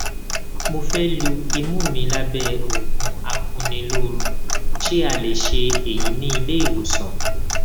mo fẹ lu imú mi lábẹ òògùn akuniloorun ṣé a lè ṣe èyí ní ilé ìwòsàn